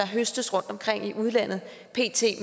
høstes rundtomkring i udlandet